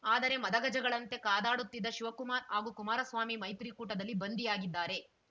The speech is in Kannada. ಆದರೆ ಮದಗಜಗಳಂತೆ ಕಾದಾಡುತ್ತಿದ್ದ ಶಿವಕುಮಾರ್‌ ಹಾಗೂ ಕುಮಾರಸ್ವಾಮಿ ಮೈತ್ರಿ ಕೂಟದಲ್ಲಿ ಬಂಧಿಯಾಗಿದ್ದಾರೆ